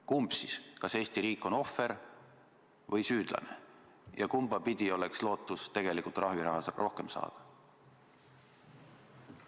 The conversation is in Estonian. Kumb siis on, kas Eesti riik on ohver või süüdlane ja kumba pidi oleks lootust trahviraha rohkem saada?